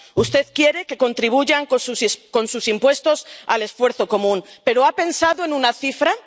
Usted quiere que contribuyan con sus impuestos al esfuerzo común, pero ¿ha pensado en una cifra?